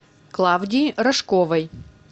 клавдии рожковой